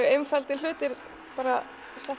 einfaldir hlutir bara